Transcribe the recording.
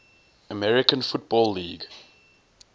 american football league